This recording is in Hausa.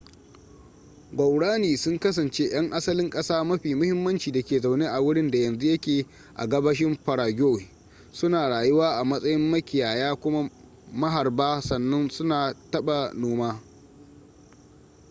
guaraní sun kasance yan asalin kasa mafi mahimmanci da ke zaune a wurinda yanzu yake a gabashin paraguay su na rayuwa a matsayin makiyaya kuma maharba sannan su na taba noma